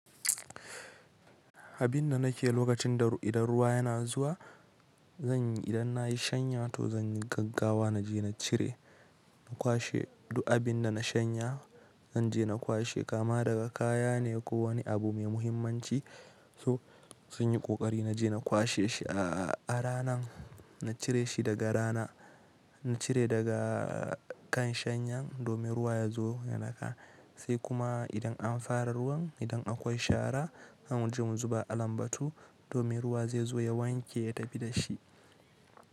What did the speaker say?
Abin da nake yi lokacin da idan ruwa yana zuwa, zan yi idan na yi shanya to zan yi gaggawa na je na cire, na kwashe duk abin da na shanya. Zan je na kwashe, kama daga kaya ne ko wani abu mai muhimmanci. So zan yi ƙoƙari na je na kwashe shi a rana, na cire shi daga rana, na cire daga kan shanyan domin ruwa ya zo ya naka. Sai kuma idan an fara ruwan, idan akwai shara, za mu je mu zuba a lambatu domin ruwa zai zo ya wanke, ya tafi da shi.